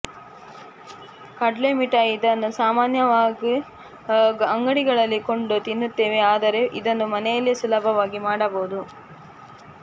ಕಡ್ಲೆ ಮಿಠಾಯಿ ಇದನ್ನು ಸಾಮಾನ್ಯವಾಗು ಅಂಗಡಿಗಳಲ್ಲಿ ಕೊಂಡು ತಿನ್ನುತ್ತೇವೆ ಆದರೆ ಇದನ್ನು ಮನೆಯಲ್ಲೇ ಸುಲಭವಾಗಿ ಮಾಡಬಹುದು